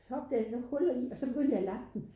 Så opdagede jeg nogen huller i og så begyndte jeg at lap den